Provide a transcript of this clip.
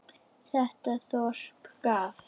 Þetta þorp gaf